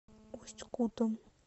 усть кутом